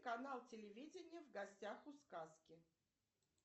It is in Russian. канал телевидения в гостях у сказки